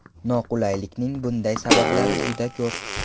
Noqulaylikning bunday sabablari juda ko‘p.